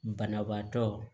Banabaatɔ